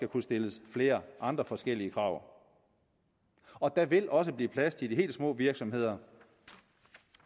kunne stilles flere andre forskellige krav og der vil også blive plads til de helt små virksomheder